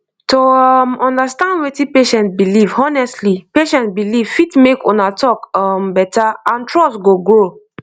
to um understand wetin patient believe honestly patient believe honestly fit make una talk um better and trust go grow